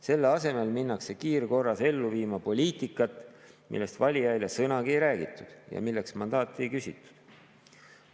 Selle asemel minnakse kiirkorras ellu viima poliitikat, millest valijaile sõnagi ei räägitud ja milleks mandaati ei küsitud.